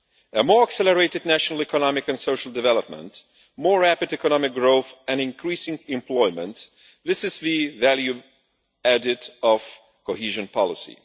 A more accelerated national economic and social development, more rapid economic growth and increasing employment this is the value added of cohesion policy.